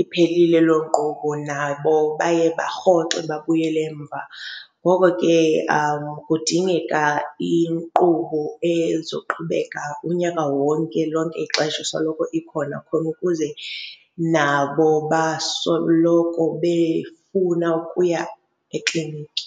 iphelile loo nkqubo nabo baye barhoxe babuyele emva. Ngoko ke kudingeka inkqubo ezoqhubeka unyaka wonke, lonke ixesha isoloko ikhona, khona ukuze nabo basoloko befuna ukuya ekliniki.